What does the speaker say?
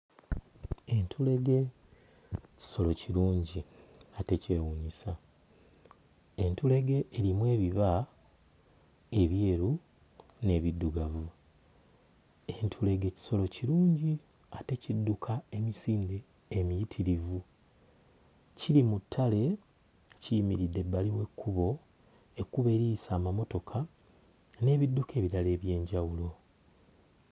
Entulege kisolo kirungi ate kyewuunyisa, entulege erimu ebiba ebyeru n'ebiddugavu, entulege kisolo kirungi ate kidduka emisinde emiyitirivu. Kiri mu ttale kiyimiridde ebbali w'ekkubo, ekkubo eriyisa amamotoka n'ebidduka ebirala eby'enjawulo.